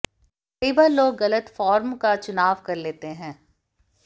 कई बार लोग गलत फॉर्म का चुनाव कर लेते हैं